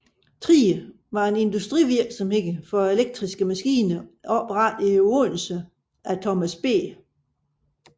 Thrige var en industrivirksomhed for elektriske maskiner oprettet i Odense af Thomas B